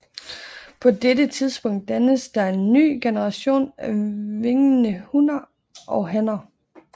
På dette tidspunkt dannes der en ny generation af vingede hunner og hanner